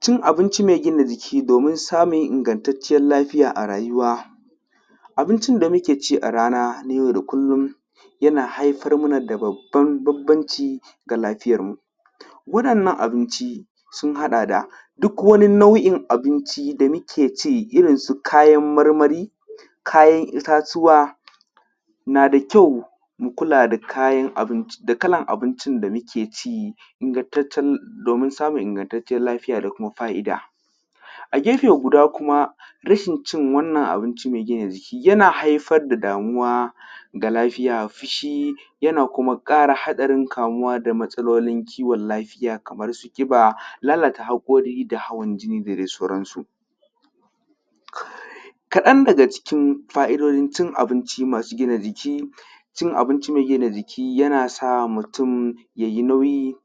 cin abinci mai gina jiki domin samun ingantacciyar lafiya a rayuwa abincin da muke ci a rana na yau da kullum yana haifar mana da babban banbanci ga lafiyar mu waɗannan abinci sun haɗa da duk wani nau’in abinci da muke ci irin su kayan marmari kayan itatuwa na da kyau mu kula da kayan abinci da kalan abincin da muke ci ingantacce domin samun ingantacciyar lafiya da kuma fa’ida a gefe guda kuma rashin cin wannan abinci mai gina jiki yana haifar da damuwa ga lafiya fushi yana kuma ƙara haɗarin kamuwa da matsalolin kiwon lafiya kaman su ƙiba lalata haƙori da kuma hawan jini da dai sauran su kaɗan daga cikin fa’idojin cin abinci masu gina jiki cin abinci mai gina jiki yana sa mutum yayi nauyi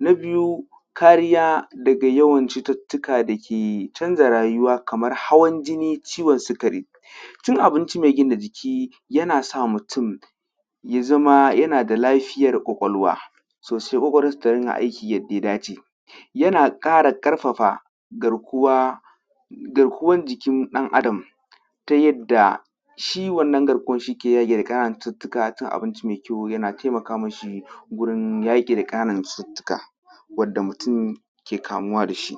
na biyu kariya daga yawan cututtuka da ke canza rayuwa kamar hawan jini ciwon sukari cin abinci mai gina jiki yana sa mutum ya zama yana da lafiyar ƙwaƙwalwa so sai ƙwaƙwalwar sa ta riƙa aiki yadda ya dace yana ƙara ƙarfafa garkuwa garkuwan jikin ɗan adam ta yadda shi wannan garkuwan shi ke yaƙi da ƙananan cututtuka cin abinci mai kyau yana taimaka mishi wurin yaki da ƙananan cututtuka wanda mutum ke kamuwa da shi